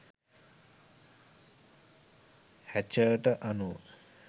හැචර්ට අනුව